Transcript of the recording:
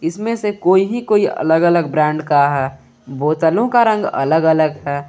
इसमें से कोई ही कोई अलग अलग ब्रांड का बोतलों का रंग अलग अलग है।